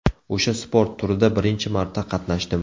O‘sha sport turida birinchi marta qatnashdim.